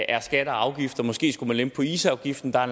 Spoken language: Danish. er skatter og afgifter måske skulle man lempe på isafgiften der er